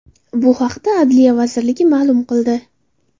Bu haqda Adliya vazirligi ma’lum qildi .